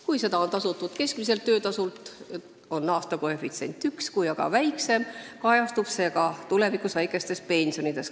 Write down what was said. Kui seda on tasutud keskmiselt töötasult, on aastakoefitsient 1, kui aga väiksem, kajastub see tulevikus väikestes pensionides.